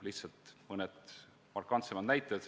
Toon mõne markantsema näite.